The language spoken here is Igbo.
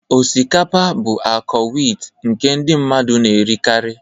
Osikapa bụ ọka wit nke ndị mmadụ na-erikarị.